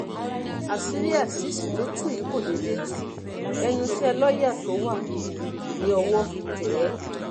àṣírí azeez tó tú yìí kò déédé tu ẹnu iṣẹ́ lọ́ọ́yà náà ló wà tí ọwọ́ fi tẹ̀ ẹ́